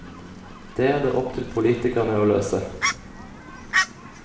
Det er det opp til politikerne å løse.